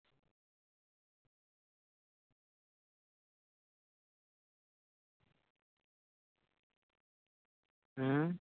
ਹੈਂ